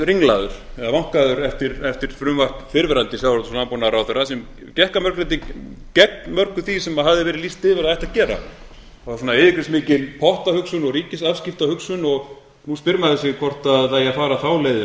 ringlaður eða vankaður eftir frumvarp fyrrverandi sjávarútvegs og landbúnaðarráðherra sem gekk að mörgu leyti gegn mörgu því sem hafði verið lýst yfir að ætti að gera það var yfirgripsmikil pottahugsun og ríkisafskiptahugsun og nú spyr maður sig hvort það eigi að fara